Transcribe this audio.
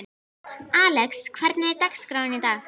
Alex, hvernig er dagskráin í dag?